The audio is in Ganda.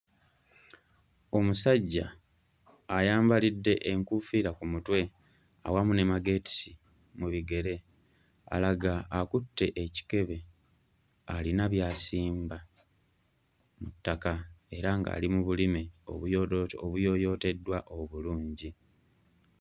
Omusajja ayambalidde enkoofiira ku mutwe awamu ne mageetisi mu bigere alaga akutte ekikebe alina by'asimba mu ttaka era ng'ali mu bulime obuyooyoote obuyooyooteddwa obulungi.